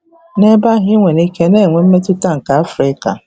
N'ebe ahụ ị nwere ike na-enwe mmetụta nke Africa.